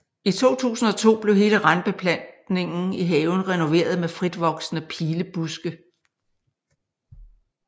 I 2002 blev hele randbeplantninger i haven renoveret med fritvoksende pilebuske